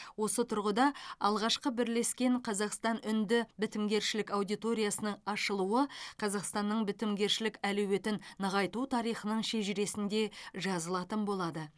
осы тұрғыда алғашқы бірлескен қазақстан үнді бітімгершілік аудиториясының ашылуы қазақстанның бітімгершілік әлеуетін нығайту тарихының шежіресінде жазылатын болады